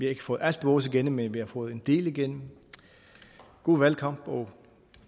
ikke fået alt vores igennem men vi har fået en del igennem god valgkamp og